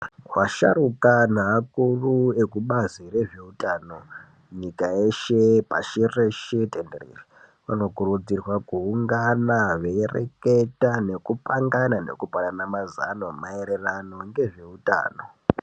Vasharuka neakuru ekubazi rezvehutano nyika yeshe pashi reshe tenderere vanokurudzirwa kuungana veireketa nekupangana nekupanana mazano maererano ngezveutano.